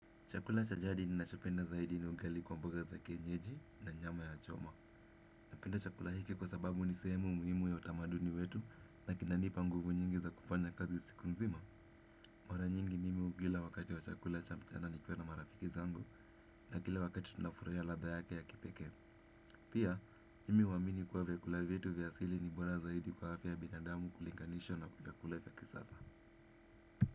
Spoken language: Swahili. Chakula cha jadi ninachopenda zaidi ni ugali kwa mboga za kienyeji na nyama ya choma. Napenda chakula hiki kwa sababu ni sehemu muhimu ya utamaduni wetu na kinanipa nguvu nyingi za kufanya kazi siku nzima. Mara nyingi mimi hukila wakati wa chakula cha mchana nikiwa na marafiki zangu na kila wakati tunafurahia ladha yake ya kipekee. Pia, mimi huamini kuwa vyakula vyetu vya asili ni bora zaidi kwa afya ya binadamu ukilinganisha na vyakula vya kisasa.